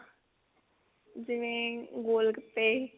ਜਿਵੇਂ ਗੋਲ ਗੱਪੇ